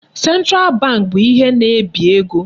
Central bank bụ ihe na-ebi ego.